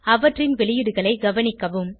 அவற்றின் வெளியீடுகளை கவனிக்கவும்